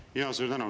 Jaa, suur tänu!